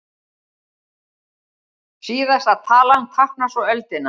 Síðasta talan táknar svo öldina.